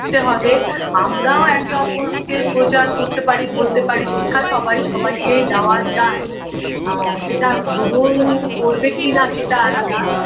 তে হবে আমরাও একে অপরকে প্রচার করতে পারি বলতে পারি শিক্ষা সবাই সবাইকেই দেওয়া যায় আ সেটা গ্রহণ করবে কিনা সেটা আলাদা